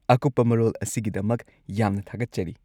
ꯑꯀꯨꯞꯄ ꯃꯔꯣꯜ ꯑꯁꯤꯒꯤꯗꯃꯛ ꯌꯥꯝꯅ ꯊꯥꯒꯠꯆꯔꯤ꯫